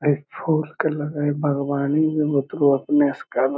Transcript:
इ फाॅर्स पर --